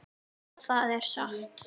Já, það er satt.